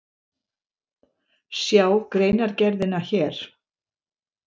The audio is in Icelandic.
Sjá greinargerðina hér